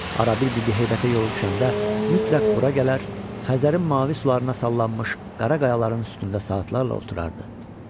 Arada bir Bibi Heybətə yolu düşəndə mütləq bura gələr, Xəzərin mavi sularına sallanmış qara qayaların üstündə saatlarla oturardı.